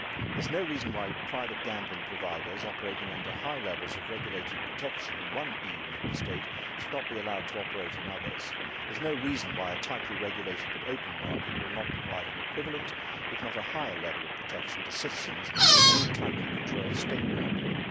There is no reason why private gambling providers operating under high levels of regulated protection in one EU Member State should not be allowed to operate in others. There is no reason why a tightly regulated but open market will not provide an equivalent, if not a higher, level of protection to citizens as any tightly controlled state monopoly.